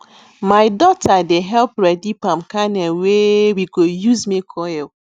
my daughter dey help ready palm kernel wey we go use make oil